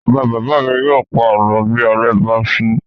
Bàbá-bàbá mi yóò pa àlọ́ bí ilẹ̀ bá ṣú.